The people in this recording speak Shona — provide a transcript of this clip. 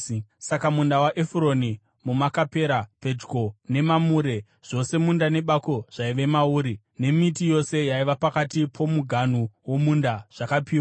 Saka munda waEfuroni muMakapera pedyo neMamure, zvose munda nebako zvaive mauri, nemiti yose yaiva pakati pomuganhu womunda, zvakapiwa